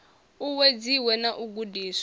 u uwedziwe na u gudiswa